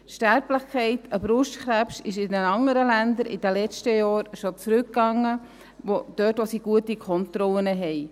Die Sterblichkeit durch Brustkrebs ist in den anderen Ländern in den letzten Jahren schon zurückgegangen, dort wo sie gute Kontrollen haben.